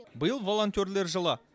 биыл волонтерлер жылы